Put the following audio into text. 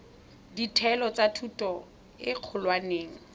ditheo tsa thuto e kgolwane